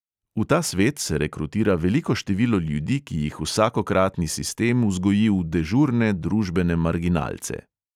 V ta svet se rekrutira veliko število ljudi, ki jih vsakokratni sistem vzgoji v "dežurne" družbene marginalce.